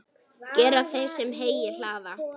Gera þeir, sem heyi hlaða.